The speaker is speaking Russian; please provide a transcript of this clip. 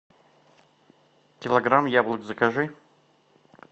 килограмм яблок закажи